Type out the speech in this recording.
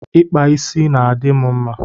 Ịkpa isi na-adị m mma